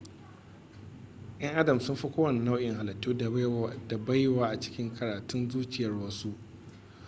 'yan adam sun fi kowane nau'in halittu da baiwa a cikin karatun zuciyar wasu